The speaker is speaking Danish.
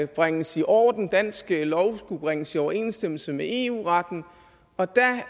bringes i orden dansk lov skulle bringes i overensstemmelse med eu retten og da